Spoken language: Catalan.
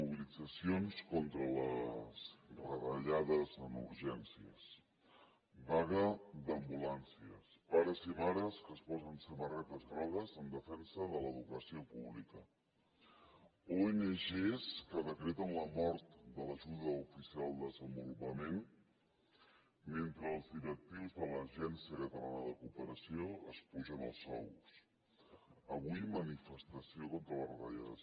mobilitzacions contra les retallades en urgències vaga d’ambulàncies pares i mares que es posen samarretes grogues en defensa de l’educació pública ong que decreten la mort de l’ajuda oficial al desenvolupament mentre els directius de l’agència catalana de cooperació s’apugen els sous avui manifestació contra les retallades